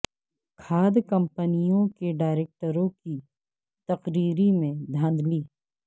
کھاد کمپنیوں کے ڈائریکٹروں کی تقرری میں دھاند لی